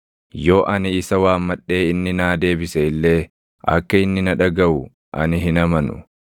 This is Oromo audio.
Yoo ani isa waammadhee inni naa deebise illee, akka inni na dhagaʼu ani hin amanu.